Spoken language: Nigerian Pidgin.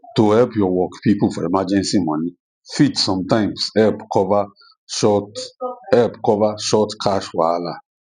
to ask your work people for emergency money fit sometimes help cover short help cover short cash wahala